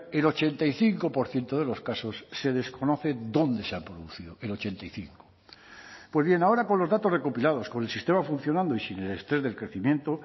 el ochenta y cinco por ciento de los casos se desconocen dónde se ha producido el ochenta y cinco pues bien ahora con los datos recopilados con el sistema funcionando y sin el estrés del crecimiento